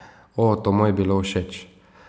O, to mu je bilo všeč.